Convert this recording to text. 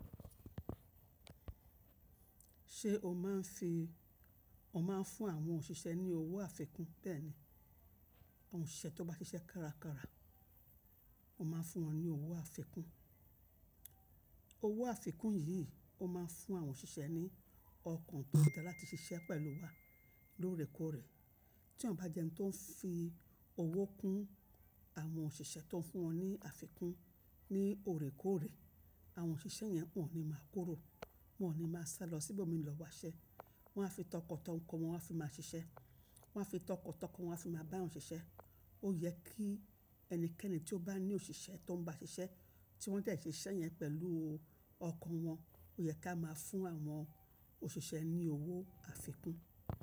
Ṣé o máa ń fi, o máa ń fún àwọn òṣìṣẹ́ ní owó àfikún? Bẹ́ẹ̀ni, òṣìṣẹ́ tó bá ṣiṣẹ́ kárakára, o máa ń fún wọn ní owó àfikún. Owó àfikún yìí o máa ń fún àwọn òṣìṣẹ́ ní ọkàn tó dára láti ṣiṣẹ́ pẹ̀lú wa lóòrèkóòrè. Tí èyàn bá jẹ́ ẹni tó ń fi owó kún àwọn òṣìṣẹ́ tó ń fún wọn ní àfikún ní òrèkóòrè, àwọn òṣìṣẹ́ yẹn wọn ní máa kúrò, wọn ò ní máa sálọ síbò mi lọ wá ṣẹ, wọn á fi tọkàntọkàn wọn fi máa ṣiṣẹ́, wọn á fi tọkàntọkàn wọn fi máa bá wọn ṣiṣẹ́. Ó yẹ kí ẹnikẹ́ni tí ó bá ní òṣìṣẹ́ tó ń bá ṣiṣẹ́ tí wọ́n dẹ̀ ṣe iṣẹ́ yẹn pẹ̀lú ọkàn wọn, ó yẹ ká máa fún àwọn òṣìṣẹ́ ní owó àfikún.